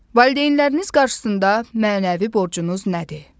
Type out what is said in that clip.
Valideynləriniz qarşısında mənəvi borcunuz nədir?